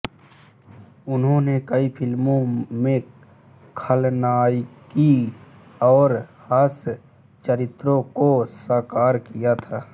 उन्होंने कई फिल्मों में खलनायिका और हास्य चरित्रों को साकार किया था